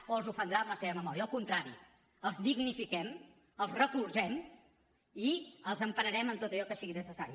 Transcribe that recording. o els ofendrà en la seva memòria al contrari els dignifiquem els recolzem i els empararem en tot allò que sigui necessari